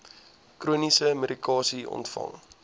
chroniese medikasie ontvang